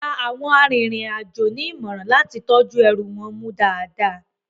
Wón gba àwọn arinrin-àjọ ní ìmọ̀ràn láti tọ́jú ẹrù wọn mú dáadáa